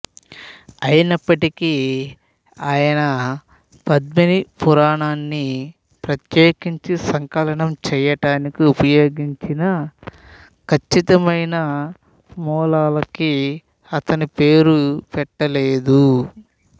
అయినప్పటికీ ఆయన పద్మినీ పురాణాన్ని ప్రత్యేకించి సంకలనం చేయటానికి ఉపయోగించిన ఖచ్చితమైన మూలాలకి అతను పేరు పెట్టలేదు